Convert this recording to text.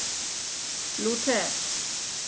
Lúter